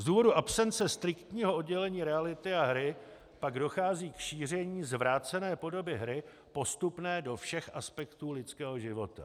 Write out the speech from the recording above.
Z důvodu absence striktního oddělení reality a hry pak dochází k šíření zvrácené podoby hry postupně do všech aspektů lidského života.